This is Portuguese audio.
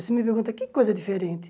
Você me pergunta, que coisa diferente?